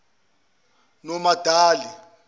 nomadali